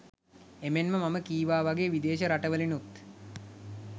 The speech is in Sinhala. එමෙන්ම මම කීවා වගේ විදේශ රටවලිනුත්